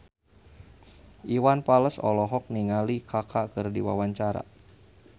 Iwan Fals olohok ningali Kaka keur diwawancara